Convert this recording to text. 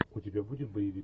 у тебя будет боевик